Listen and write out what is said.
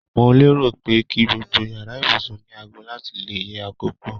Mo lérò pe ki gbogbo yàrá ibùsùn ni aago láti le yẹ akókò